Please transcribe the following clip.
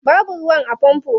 Babu ruwa a famfo.